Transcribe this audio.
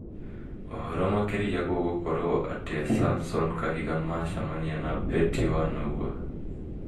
ũhoro makĩria gũgũkorwo atĩa samson kahiga macamania na betty wanaua